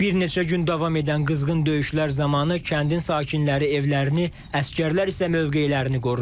Bir neçə gün davam edən qızğın döyüşlər zamanı kəndin sakinləri evlərini, əsgərlər isə mövqelərini qorudu.